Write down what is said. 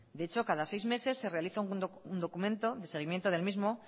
de hecho cada seis meses se realiza un documento de seguimiento del mismo